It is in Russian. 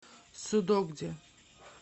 судогде